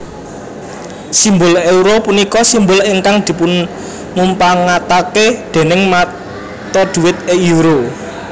Simbul euro punika simbol ingkang dipunmupangatake déning mata dhuwit euro